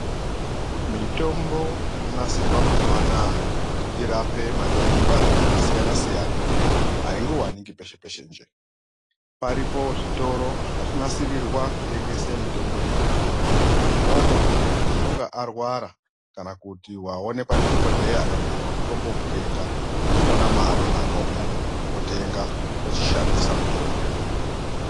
Mitombo inonasirwa mazuva anaya kuti irape matenda akasiyana siyana aingowaniki peshe peshe njee, paripo zvitoro zvakatonsirirwa kutengese mitombo iyoyo, imwomo muntu unenge warwara kana kuti aonekwa ndidhokodheya akabhuyirwe mitombo wokutenga ndimona mwaanonanga imwomo otenga ochishandisa mutombo.